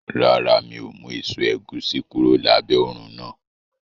Rárá, mi ò mú èso ẹ̀gúsí kúrò lábẹ́ òrùn náà